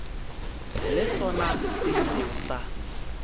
le sona se ile sa